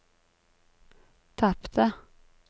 tapte